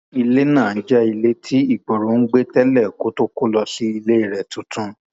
ilé náà jẹ ilé tí igboro ń gbé tẹlẹ kó tóó kó lọ sí ilé rẹ tuntun